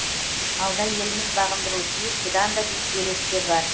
алда еліміз бағындыруы тиіс бұдан да биік белестер бар